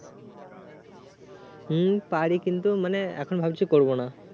হুম পারি কিন্তু মানে এখন ভাবছি করবো না